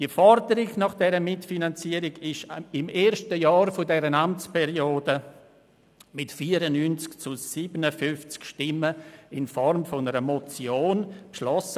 Die Forderung nach dieser Mitfinanzierung wurde im ersten Jahr dieser Amtsperiode mit 94 zu 57 Stimmen in Form einer Motion hier drin beschlossen.